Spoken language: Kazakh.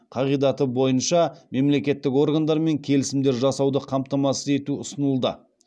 қағидаты бойынша мемлекеттік органдармен келісімдер жасауды қамтамасыз ету ұсынылды